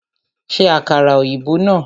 Ṣe àkàrà ọ̀yìnbó náà!